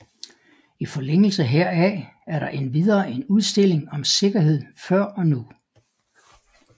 I forlængelse heraf er der endvidere en udstilling om sikkerhed før og nu